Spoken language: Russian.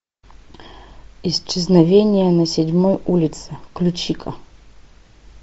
исчезновение на седьмой улице включи ка